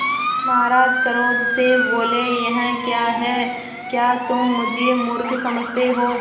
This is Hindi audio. महाराज क्रोध से बोले यह क्या है क्या तुम मुझे मुर्ख समझते हो